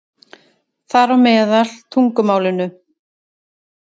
Þar á meðal tungumálinu.